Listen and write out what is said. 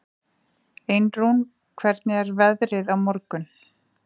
Einrún, hvernig er veðrið á morgun?